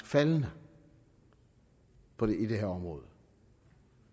faldende i det her område